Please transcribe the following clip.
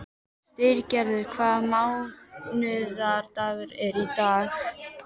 Styrgerður, hvaða mánaðardagur er í dag?